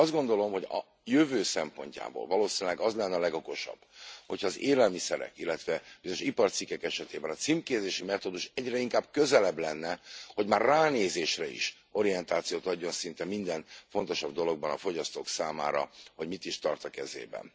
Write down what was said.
Én azt gondolom, hogy a jövő szempontjából valószínűleg az lenne a legokosabb, ha az élelmiszerek, illetve bizonyos iparcikkek esetében a címkézési metódus egyre inkább közelebb lenne, hogy már ránézésre is orientációt adjon szinte minden fontosabb dologban a fogyasztók számára arról, hogy mit is tart a kezében.